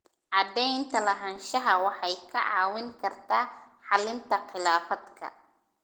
Cadaynta lahaanshaha waxay kaa caawin kartaa xallinta khilaafaadka.